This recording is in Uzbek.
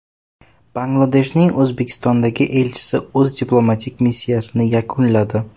Bangladeshning O‘zbekistondagi elchisi o‘z diplomatik missiyasini yakunladi.